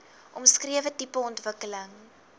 omskrewe tipe ontwikkeling